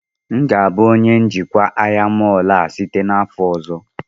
M ga-abụ onye njikwa ahịa mọọlụ a site n'afọ ọzọ